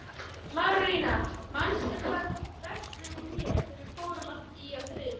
Marólína, manstu hvað verslunin hét sem við fórum í á þriðjudaginn?